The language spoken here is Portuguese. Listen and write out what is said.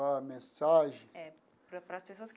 A mensagem? É para para as pessoas que.